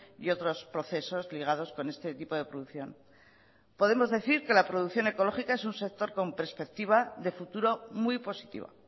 y otros procesos ligados con este tipo de producción podemos decir que la producción ecológica es un sector con perspectiva de futuro muy positiva